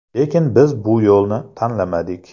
Lekin biz bu yo‘lni tanlamadik.